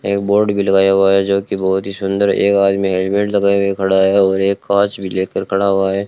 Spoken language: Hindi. एक बोर्ड भी लगाया हुआ है जो कि बहुत ही सुंदर एक आदमी हेलमेट लगाए हुए खड़ा है और एक कांच भी लेकर खड़ा हुआ है।